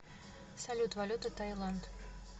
салют валюта таиланд